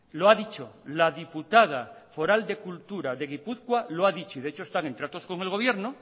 lo ha dicho la diputada foral de cultura de gipuzkoa lo ha dicho de hecho están en tratos con el gobierno